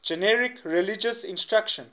generic religious instruction